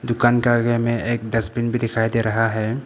दुकान के आगे में एक डस्टबिन भी दिखाई दे रहा है।